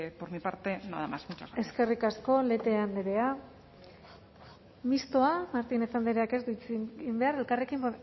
por mi parte nada más muchas gracias eskerrik asko lete andrea mistoa martínez andreak ez du hitz egin behar elkarrekin